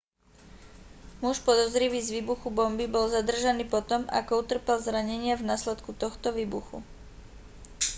muž podozrivý z výbuchu bomby bol zadržaný potom ako utrpel zranenia v následku tohto výbuchu